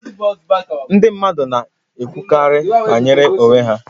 Ndị mmadụ na-ekwukarị banyere onwe ha